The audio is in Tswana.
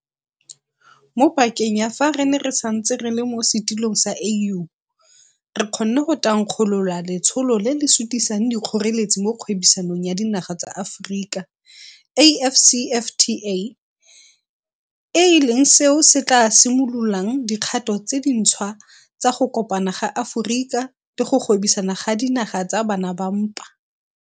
Mo pakeng ya fa re ne re santse re le mo setilong sa AU, re kgonne go thankgolola Letsholo le le Sutisang Dikgoreletsi mo Kgwebisanong ya Dinaga tsa Aforika, AfCFTA, e leng seo se tla simololang dikgato tse dintšhwa tsa go kopana ga Aforika le go gwebisana ga dinaga tsa bana ba mpa.